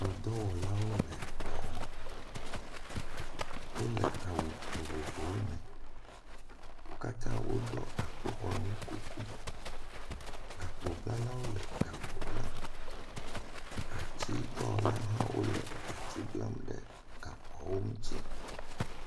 Xɔ dɔwɔlawo le edɔ wɔm, wole awu vovovowo me, wo katã woɖɔ akpoxɔnu kuku. Gakpoblawo le gakpo blam, ati dɔwɔlawo hã wole ati blam ɖe gakpoawo ŋuti.